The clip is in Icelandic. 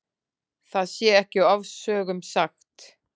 Það sé ekki ofsögum sagt.